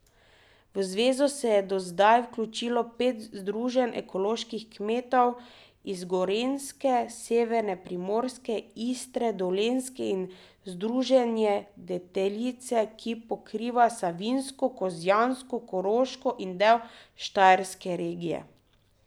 V zvezo se je do zdaj vključilo pet združenj ekoloških kmetov iz Gorenjske, severne Primorske, Istre, Dolenjske in združenje Deteljica, ki pokriva savinjsko, kozjansko, koroško in del štajerske regije.